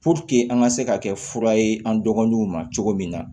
an ka se ka kɛ fura ye an dɔgɔninw ma cogo min na